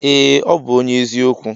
Ee ọbu ọnye eziokwu.